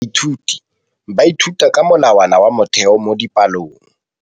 Baithuti ba ithuta ka molawana wa motheo mo dipalong.